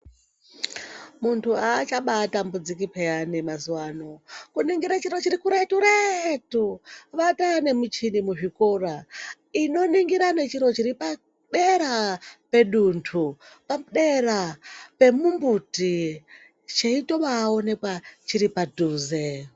Muntu aachabatambudziki peya mazuwa ano kuningira chiro chirikuretu retu vataa nemichini muzvikora inoningira nechiro chitipadera peduntu padera pemumbuti vheibaoneka chiripaduze